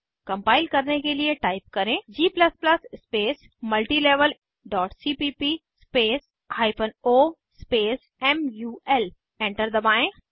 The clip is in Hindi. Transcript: कम्पाइल करने के लिए टाइप करें g स्पेस multilevelसीपीप स्पेस o स्पेस मुल एंटर दबाएं